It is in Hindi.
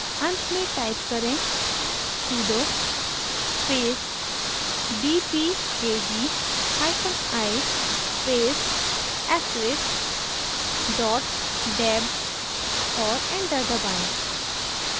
at में type करें: sudo space dpkgi space * deb और enter दबाएं